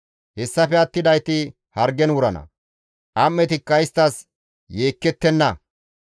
Hessafe attidayti hargen wurana; am7etikka isttas yeekkettenna.